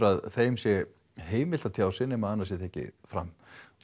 að þeim sé heimilt að tjá sig nema annað sé tekið fram